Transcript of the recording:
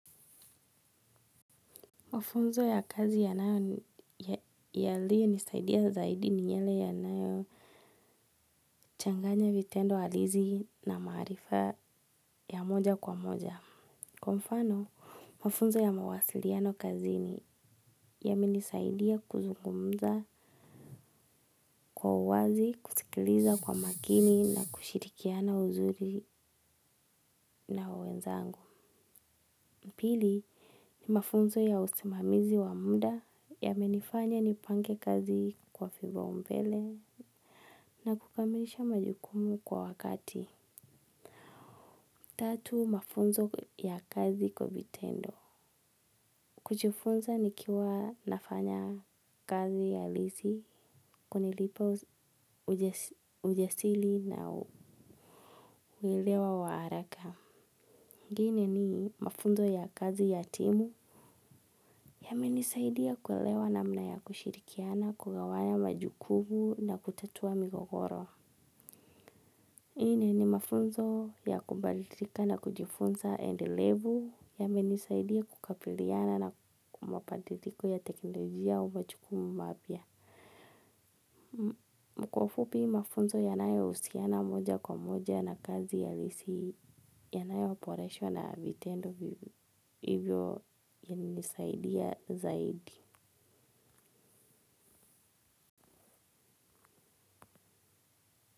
Mafunzo ya kazi yanayo yaliyo nisaidia zaidi ni yale yanayo changanya vitendo halisi na maarifa ya moja kwa moja. Kwa mfano mafunzo ya mawasiliano kazini yamenisaidia kuzungumza kwa uwazi kusikiliza kwa makini na kushirikiana uzuri na wenzangu. Pili ni mafunzo ya usimamizi wa muda yamenifanya nipange kazi kwa vipaombele na kukamilisha majukumu kwa wakati. Tatu mafunzo ya kazi kwa vitendo. Kujifunza nikiwa nafanya kazi halisi kunilipa ujasiri na uelewa wa haraka. Ingine ni mafunzo ya kazi ya timu yamenisaidia kuelewa namna ya kushirikiana kugawanya majukumu na kutatua migogoro. Nne ni mafunzo ya kubadilika na kujifunza endelevu yamenisaidia kukabiliana na mabadiliko ya teknolojia au majukumu mapya. Kwa ufupi mafunzo yanayo husiana moja kwa moja na kazi halisi yanayo boreshwa na vitendo hivyo yana nisaidia zaidi.